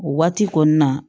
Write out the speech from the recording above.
O waati kɔni na